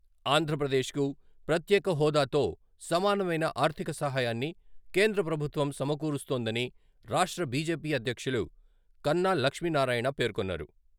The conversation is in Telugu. ఆంధ్రప్రదేశ్కు ప్రత్యేక హోదాతో సమానమైన ఆర్థిక సహాయాన్ని కేంద్ర ప్రభుత్వం సమకూరుస్తోందని రాష్ట్ర బిజెపి అధ్యక్షులు కన్నా లక్ష్మీనారాయణ పేర్కొన్నారు.